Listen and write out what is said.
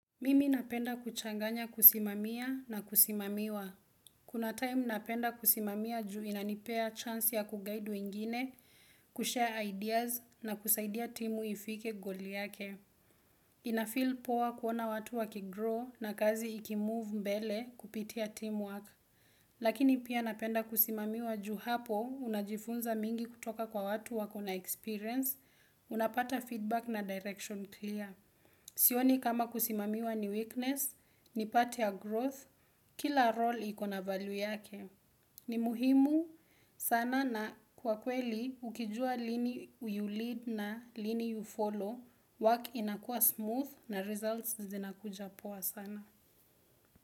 Mimi napenda kuchanganya kusimamia na kusimamiwa. Kuna time napenda kusimamia juu inanipea chance ya ku guide wengine, ku share ideas na kusaidia timu ifike goli yake. Ina feel poa kuona watu waki grow na kazi iki move mbele kupitia teamwork. Lakini pia napenda kusimamiwa juu hapo unajifunza mingi kutoka kwa watu wako na experience, unapata feedback na direction clear. Sioni kama kusimamiwa ni weakness, ni part ya growth, kila role ikona value yake. Ni muhimu sana na kwa kweli ukijua lini you lead na lini you follow. Work inakua smooth na results zinakuja poa sana.